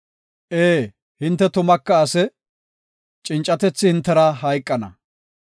Ee, hinte tumaka ase; cincatethi hintera hayqana!